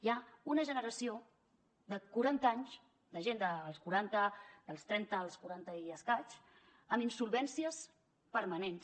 hi ha una generació de quaranta anys de gent dels quaranta dels trenta als quaranta i escaig amb insolvències permanents